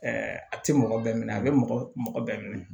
a tɛ mɔgɔ bɛɛ minɛ a bɛ mɔgɔ mɔgɔ bɛɛ minɛ